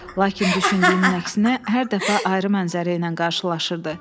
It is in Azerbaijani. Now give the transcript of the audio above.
Lakin düşündüyünün əksinə hər dəfə ayrı mənzərə ilə qarşılaşırdı.